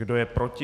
Kdo je proti?